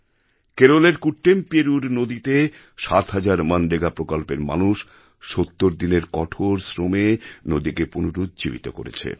কেরলের কুট্টেমপেরুর নদীতে মনরেগা প্রকল্পের আওতায় ৭ হাজার মানুষ ৭০ দিনের কঠোর শ্রমে নদীকে পুনরুজ্জীবিত করেছে